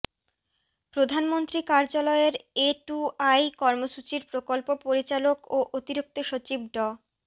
প্রধানমন্ত্রী কার্যালয়ের এটুআই কর্মসূচির প্রকল্প পরিচালক ও অতিরিক্ত সচিব ড